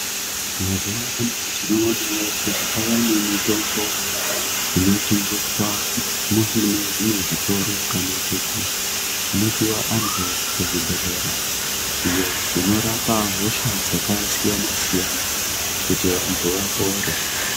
Mazuva ano tinoonavo kuti kwavane mitombo inotengeswa munezvimwe zvitoro. Kana kuti kunopiva antu kuzvibhedhlera iyo inorapa hosha dzakasiyana-siyana, kuti vantu vapore.